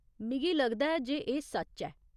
मिगी लगदा ऐ जे एह् सच्च ऐ।